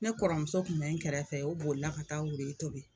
Ne kɔrɔmuso tun bɛ n kɛrɛfɛ o bolila ka taa wuruyi tobi